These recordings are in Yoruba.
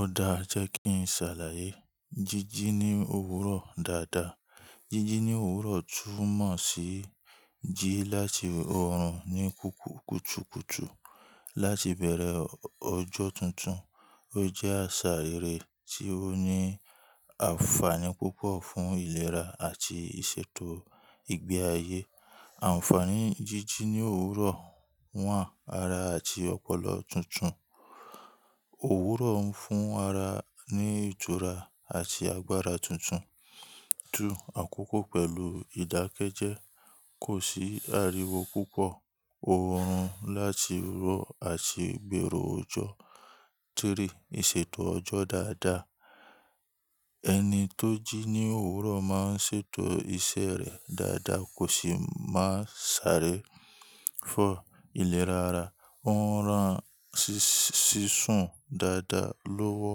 Ọ̀dà jẹ́ kí n ṣàlàyé. Jíjí ní òwúrọ̀ dáadáa. Jíjí ní òwúrọ̀ tún mọ̀ sí jí láti ọ̀run ní kùtùkùtù láti bẹ̀rẹ̀ ọjọ́ tuntun. Ó jẹ́ àṣà irẹ tí ó ní ànfàní púpọ̀ fún ìlera àti ìṣètò ìgbé ayé. Ànfàní jíjí ní òwúrọ̀, 1 ara àti ọpọlọ tuntun. Òwúrọ̀ ń fún ara ní ìtura àti agbára tuntun. Àkókò pẹ̀lú ìdákẹ́jẹ́, kò sì ariwo púpọ̀. Òòrùn láti ró àti gbèrò ọjọ́. Tiri ìṣètò ọjọ́ dáadáa. Ẹni tó jí ní òwúrọ̀ máa ṣètò iṣẹ́ rẹ̀ dáadáa, kò sì máa sáré. Ìlera ara. Ó ń ran sísún dáadáa lọ́wọ́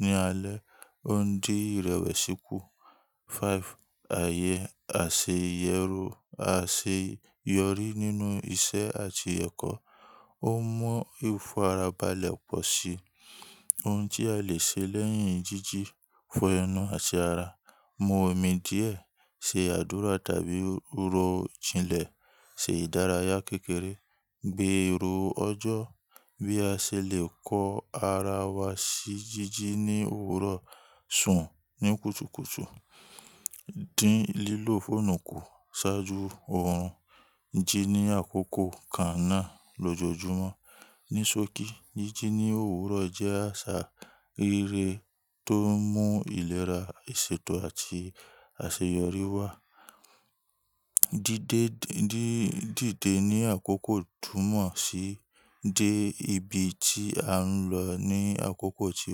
ní alẹ́, ó ń dín ìrẹ̀wẹ̀sìkú. 5 àyè aseyẹru àṣeyọrí nínú iṣẹ́ àti ẹ̀kọ́. Ó mú ìfarabalẹ̀ pọ̀ sí i. Ohun tí a lè ṣe lẹ́yìn jíjí, fo enu ati ara mu omi díẹ̀, ṣe àdúrà tàbí rọ jinlẹ̀, ṣe ìdárayá kékeré, gbèrò ọjọ́. Bí a ṣe lè kọ ara wa sí jíjí ní òwúrọ̀, sùn ní kùtùkùtù, dín lílò fóònù kù ṣáájú ọ̀run. Jí ní àkókò lójoojúmọ́. Nisoki jíjí ní òwúrọ̀ jẹ́ àṣà rere tó mú ìlera, ìṣètò àti àṣeyọrí wá. Dídé ní àkókò tún mọ̀ sí dé ibi tí a ń lọ ní àkókò tí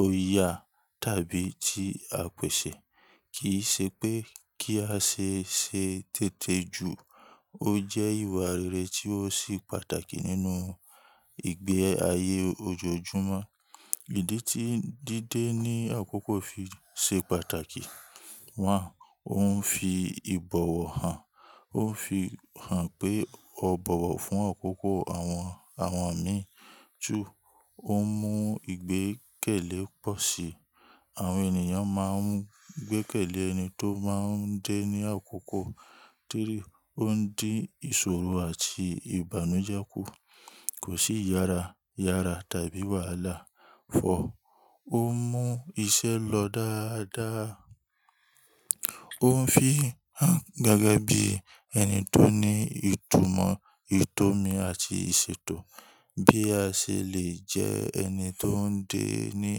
ó yà tàbí tí a pẹ̀sẹ̀. Kì í ṣe pé kí a ṣe ṣe tètè ju, ó jẹ́ ìwà rere tí ó sì pàtàkì nínú ìgbé ayé ojoojúmọ́. Ìdí tí dídé ní àkókò fi ṣe pàtàkì, 1 òun fi ìbọ̀wọ̀ hàn, ó fi hàn pé ó bọ̀wọ̀ fún àkókò àwọn àwọn mi. 2 Ó mú ìgbẹ́kẹ̀lé pọ̀ sí i. Àwọn ènìyàn máa ń gbékẹ̀lé ẹni tó máa ń dé ní àkókò. 3 o Ó ń dín ìṣòro àti ìbànújẹ́ kù. Kò sí yára yára tàbí wàhálà. 4 Ó mú iṣẹ́ lọ dáadáa. Ó ń fi hàn gẹ́gẹ́ bí ẹni tó ní ìtumọ̀, ìtọ́ni àti ìṣètò. Bí a ṣe lè jẹ́ ẹni tó ń dé ní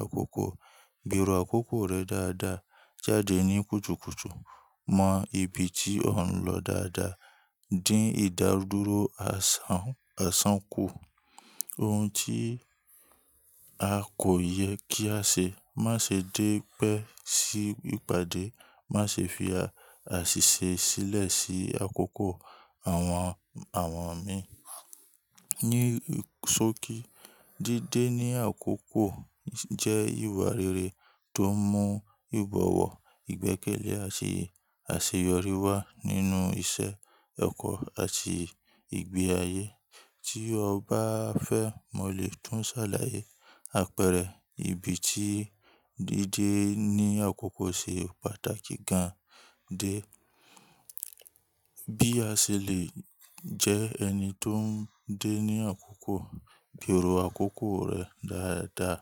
àkókò, gbèrò àkókò rẹ dáadáa. Jáde ní kùtùkùtù, mọ ibi tí ò ń lọ dáadáa. Dín ìdádúró asan àsán ku. Ohun tí a kò yẹ kí á ṣe, má ṣe dé pẹ́ sí ìpàdé, má ṣe fi àṣìṣe sílẹ̀ sí àkókò àwọn àwọn mi. Nisoki dídé ní àkókò jẹ́ ìwà rere tó mú ìbọ̀wọ̀, ìgbẹ́kẹ̀lé àti àṣeyọrí wá nínú iṣẹ́, ẹ̀kọ́ àti ìgbé ayé. Tí o bá fẹ́ mọ̀ lè tún ṣàlàyé àpẹẹrẹ ibi tí dídé ní àkókò ṣe pàtàkì gan-an dé. Bí a ṣe lè jẹ́ ẹni tó ń dé ní àkókò, gbèrò àkókò rẹ dáadáa.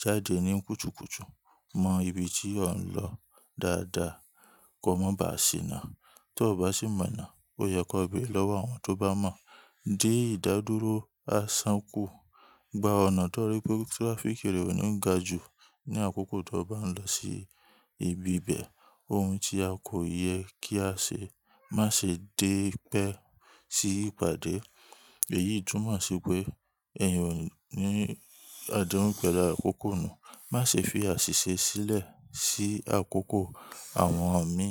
Jáde ní kùtùkùtù, mọ ibi tí ò ń lọ dáadáa. Ko mọ ba ṣiná. Tó o bá sì mọ̀ ná, ó yẹ kó bẹ̀ lọ́wọ́ àwọn tó bá mọ̀. Dín ìdádúró àsán kù. Gba ọ̀nà tó rí pé trafficki rẹ ò ní ga ju ní àkókò to bá ń lọ sí ibi bẹ́ẹ̀. O Ohun tí a kò yẹ kí á ṣe, má ṣe dé pẹ́ sí ìpàdé. Èyí tùn mọ̀ sí pé eeyan ò ní adehun pẹ̀lú àkókò nù. Má ṣe fi àṣìṣe sílẹ̀ sí àkókò àwọn mi.